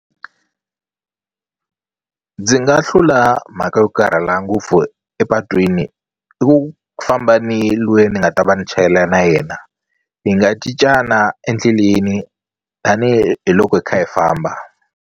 Ndzi nga hlula mhaka yo karhala ngopfu epatwini i ku famba ni lweyi ni nga ta va ni chayela na yena hi nga cincana endleleni tanihiloko hi kha hi famba.